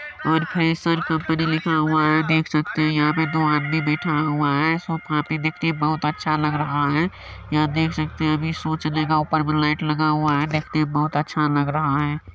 '' ऊपर freshers company लिखा हुआ है यहां देख सकते हैं कि दो आदमी बैठा हुआ है सोफा भी दिखने में बहुत अच्छा लग रहा है यहां देख सकते हैं कि अभी शो चलेगा ऊपर लाइट लगा हुआ है देखने में बहुत ही अच्छा लग रहा है।''